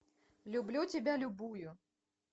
люблю тебя любую